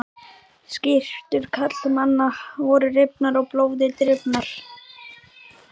Skyrtur karlmannanna voru rifnar og blóði drifnar.